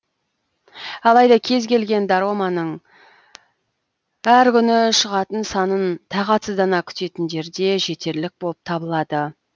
алайда кез келген дораманың әр күні шығатын санын тағатсыздана күтетін жерде жетерлік болып табылады